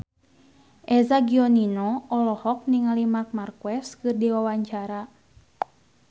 Eza Gionino olohok ningali Marc Marquez keur diwawancara